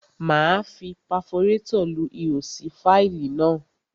Máa fi paforétọ̀ lu ihò sí fáìlì náà.